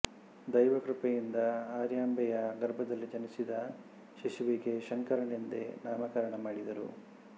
ದ್ಯ್ವವಕೃಪೆಯಿಂದ ಆರ್ಯಾಂಬೆಯ ಗರ್ಭದಲ್ಲಿ ಜನಿಸಿದ ಶಿಶುವಿಗೆ ಶಂಕರನೆಂದೇ ನಾಮಕರಣ ಮಾಡಿದರು